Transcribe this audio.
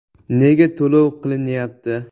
Nega to‘lov qilinyapti?